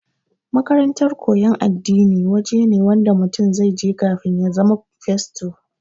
makarantar koyan addini waje ne Wanda mutum zaije kafin ya zama fasto